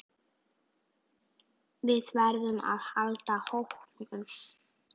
Við verðum að halda hópinn!